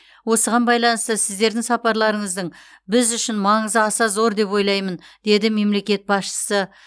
осыған байланысты сіздердің сапарларыңыздың біз үшін маңызы аса зор деп ойлаймын деді мемлекет басшысы